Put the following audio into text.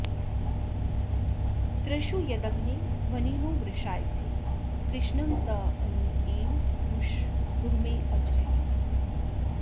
तृषु यदग्ने वनिनो वृषायसे कृष्णं त एम रुशदूर्मे अजर